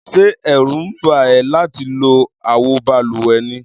Ṣé ẹ̀rù ń bà ẹ́ láti lo àwo balùwẹ̀ ni?